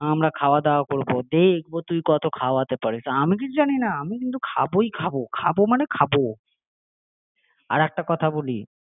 আমরা খাওয়া দাওয়া করবো দেখবো তুই কত খাওয়াতে পারিস আমি কিছু জানি না আমি কিন্তু খাবই খাবো, খাবো মানে খাবো আরে আমি তো ভাবছি আর একটা কথা বলি